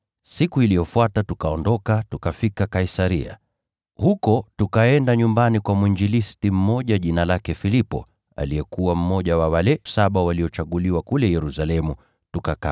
Siku iliyofuata tukaondoka, tukafika Kaisaria. Huko tukaenda nyumbani kwa mwinjilisti mmoja jina lake Filipo, aliyekuwa mmoja wa wale Saba, tukakaa kwake.